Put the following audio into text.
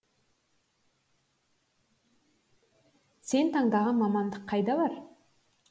сен таңдаған мамандық қайда бар